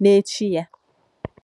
n’èchí ya.